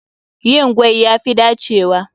Yin gwaen ya fi dacewa.